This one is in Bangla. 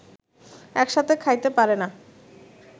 একসাথে খাইতে পারেনা